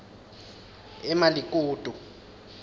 emalikutu